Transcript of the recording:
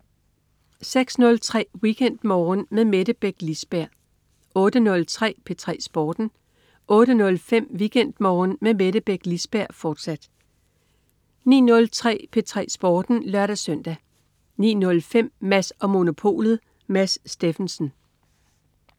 06.03 WeekendMorgen med Mette Beck Lisberg 08.03 P3 Sporten 08.05 WeekendMorgen med Mette Beck Lisberg, fortsat 09.03 P3 Sporten (lør-søn) 09.05 Mads & Monopolet. Mads Steffensen